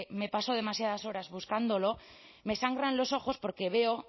me paso demasiadas horas buscándolos me sangran los ojos porque veo